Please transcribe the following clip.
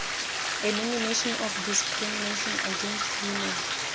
elimination of discrimination against women